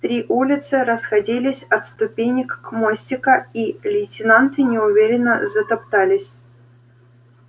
три улицы расходились от ступенек мостика и лейтенанты неуверенно затоптались